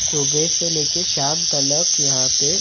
सुबह से लेकर शाम तलक यहाँ पे--